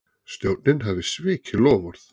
Stjórnin hafi svikið loforð